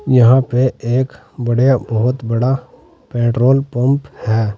यहां पे एक बढ़िया बहुत बड़ा पेट्रोल पंप है।